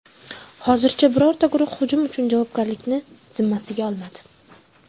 Hozircha birorta guruh hujum uchun javobgarlikni zimmasiga olmadi.